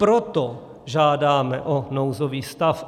Proto žádáme o nouzový stav.